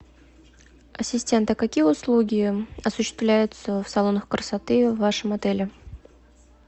ассистент а какие услуги осуществляются в салоне красоты в вашем отеле